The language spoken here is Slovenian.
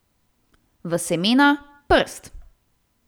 V semena, prst.